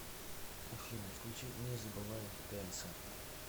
афина включи не забывай тенса